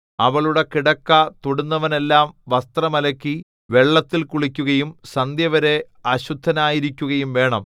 അവളുടെ കിടക്ക തൊടുന്നവനെല്ലാം വസ്ത്രം അലക്കി വെള്ളത്തിൽ കുളിക്കുകയും സന്ധ്യവരെ അശുദ്ധനായിരിക്കുകയും വേണം